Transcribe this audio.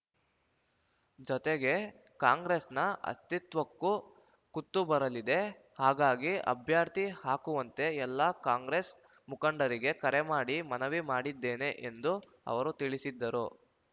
ಜತೆಗೆ ಕಾಂಗ್ರೆಸ್‌ನ ಅಸ್ತಿತ್ವಕ್ಕೂ ಕುತ್ತುಬರಲಿದೆ ಹಾಗಾಗಿ ಅಭ್ಯರ್ಥಿ ಹಾಕುವಂತೆ ಎಲ್ಲಾ ಕಾಂಗ್ರೆಸ್‌ ಮುಖಂಡರಿಗೆ ಕರೆಮಾಡಿ ಮನವಿ ಮಾಡಿದ್ದೇನೆ ಎಂದು ಅವರು ತಿಳಿಸಿದ್ದರು